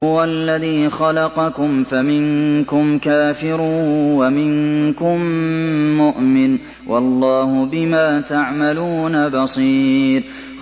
هُوَ الَّذِي خَلَقَكُمْ فَمِنكُمْ كَافِرٌ وَمِنكُم مُّؤْمِنٌ ۚ وَاللَّهُ بِمَا تَعْمَلُونَ بَصِيرٌ